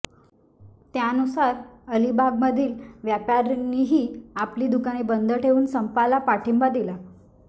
त्यानुसार अलिबागमधील व्यापाऱ्यांनीही आपली दुकाने बंद ठेवून संपाला पाठिंबा दिला